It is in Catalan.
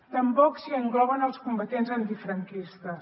tampoc s’hi engloben els combatents antifranquistes